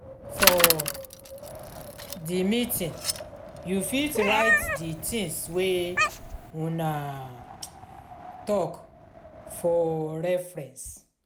for di meeting you fit write di things wey una talk for reference